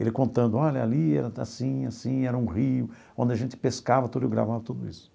Ele contando, olha, ali era assim, assim, era um rio, onde a gente pescava tudo e eu gravava tudo isso.